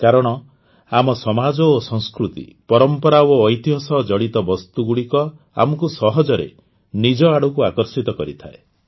କାରଣ ଆମ ସମାଜ ଓ ସଂସ୍କୃତି ପରମ୍ପରା ଓ ଐତିହ ସହ ଜଡ଼ିତ ବସ୍ତୁଗୁଡ଼ିକ ଆମକୁ ସହଜରେ ନିଜ ଆଡ଼କୁ ଆକର୍ଷିତ କରିଥାଏ